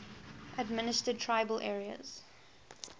administered tribal areas